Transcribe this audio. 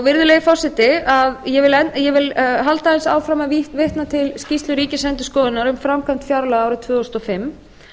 virðulegi forseti ég vil halda aðeins áfram að vitna til skýrslu ríkisendurskoðunar um framkvæmd fjárlaga árið tvö þúsund og fimm